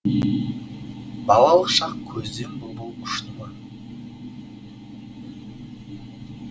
балалық шақ көзден бұлбұл ұшты ма